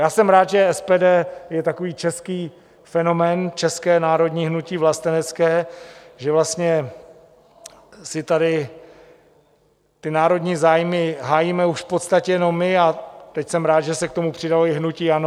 Já jsem rád, že SPD je takový český fenomén, české národní hnutí vlastenecké, že vlastně si tady ty národní zájmy hájíme už v podstatě jenom my, a teď jsem rád, že se k tomu přidalo i hnutí ANO.